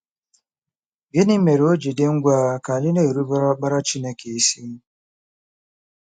Gịnị mere o ji dị ngwa ka anyị na-erubere Ọkpara Chineke isi?